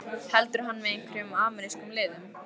Heldur hann með einhverjum amerískum liðum?